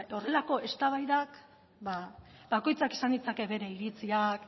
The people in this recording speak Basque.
horrelako eztabaidak bakoitzak izan ditzake bere iritziak